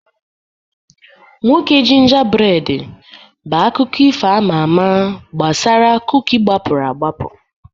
Nwoke Gingerbread bụ akụkọ ifo ama ama gbasara kuki gbapụrụ agbapụ.